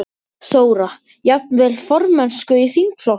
Þóra: Jafnvel formennsku í þingflokknum?